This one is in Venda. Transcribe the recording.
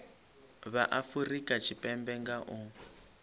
vha afurika tshipembe nga u